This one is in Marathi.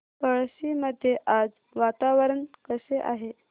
पळशी मध्ये आज वातावरण कसे आहे